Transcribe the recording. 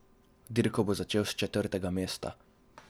Dirko bo tako začel s četrtega mesta.